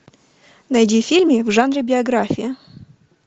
найди фильмы в жанре биография